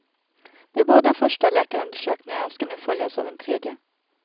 De båda första läkarundersökningarna ska nu följas av en tredje.